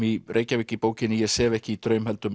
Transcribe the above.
í Reykjavík í bókinni ég sef ekki í